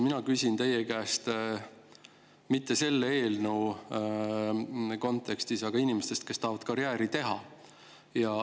Mina ei küsi teie käest mitte selle eelnõu kontekstis, vaid küsin lihtsalt inimeste kohta, kes tahavad karjääri teha.